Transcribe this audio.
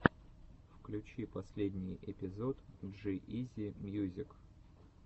включи последний эпизод джи изи мьюзик